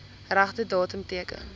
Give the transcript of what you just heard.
regte datum teken